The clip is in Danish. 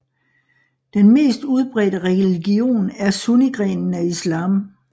Den mest udbredte religion er sunnigrenen af Islam